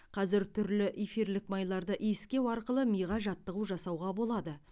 қазір түрлі эфирлік майларды иіскеу арқылы миға жаттығу жасауға болады